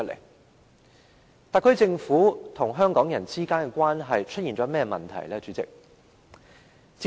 代理主席，特區政府與香港人之間的關係出現了甚麼問題呢？